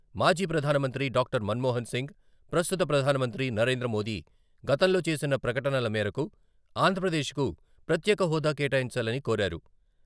మాజీ ప్రధానమంత్రి డాక్టర్ మన్మోహన్ సింగ్, ప్రస్తుత ప్రధానమంత్రి నరేంద్రమోదీ గతంలో చేసిన ప్రకటనల మేరకు ఆంధ్రప్రదేశ్కు ప్రత్యేక హోదా కేటాయించాలని కోరారు.